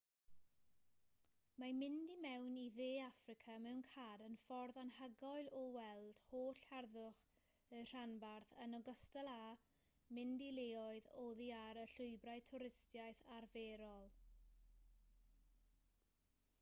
mae mynd i mewn i dde affrica mewn car yn ffordd anhygoel o weld holl harddwch y rhanbarth yn ogystal â mynd i leoedd oddi ar y llwybrau twristiaeth arferol